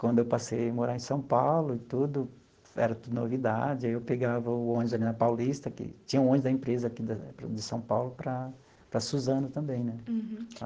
Quando eu passei a morar em São Paulo e tudo, era tudo novidade, eu pegava o ônibus ali na Paulista, que tinha o ônibus da empresa aqui da de São Paulo, para para Suzano também né. Uhum.